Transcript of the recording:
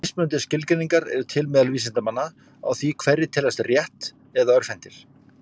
Mismunandi skilgreiningar eru til meðal vísindamanna á því hverjir teljist rétt- eða örvhentir.